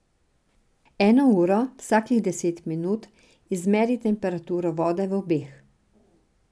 Eno uro, vsakih deset minut, izmeri temperaturo vode v obeh.